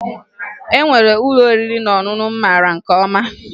E nwere ụlọ oriri na ọṅụṅụ m mara nke ọma